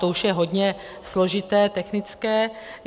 To už je hodně složité, technické.